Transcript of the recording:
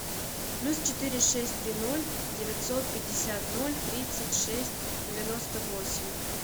плюс четыре шесть три ноль девятьсот пятьдесят ноль тридцать шесть девяносто восемь